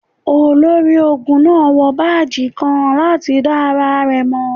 Olori-ogun naa wọ baaji kan lati da ara rẹ mọ.